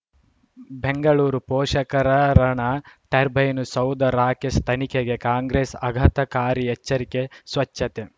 ಬೆಂಗಳೂರು ಪೋಷಕರಋಣ ಟರ್ಬೈನು ಸೌಧ ರಾಕೇಶ್ ತನಿಖೆಗೆ ಕಾಂಗ್ರೆಸ್ ಆಘಾತಕಾರಿ ಎಚ್ಚರಿಕೆ ಸ್ವಚ್ಛತೆ